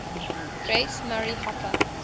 grace murray hopper